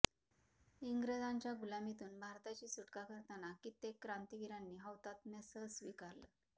इंग्रजांच्या गुलामीतून भारताची सुटका करताना कित्येक क्रांतिवीरांनी हौतात्म्य सस्विकारलं